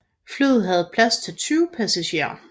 Flyet havde plads til 20 passagerer